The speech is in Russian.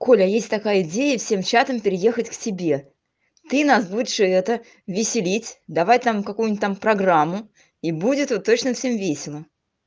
коля есть такая идея всем чатом переехать к себе ты нас будешь это веселить давать там какую-нибудь там программу и будет вот точно всем весело